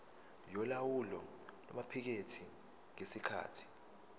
yolawulo lwamaphikethi ngesikhathi